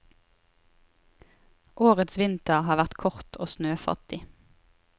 Årets vinter har vært kort og snøfattig.